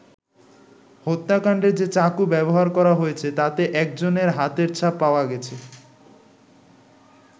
হত্যাকাণ্ডে যে চাকু ব্যবহার করা হয়েছে তাতে একজনের হাতের ছাপ পাওয়া গেছে।